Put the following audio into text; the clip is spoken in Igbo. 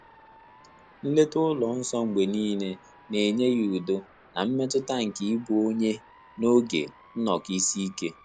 Nlèta Ụlọ nsọ mgbè níílé nà-ényé yá údo nà mmétụ́tà nké ị́bụ́ ọ́nyé n’ógè nnọ́kọ́ ísí íké.